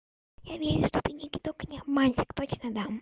я верю что ты не кидок и не обманщик точно дам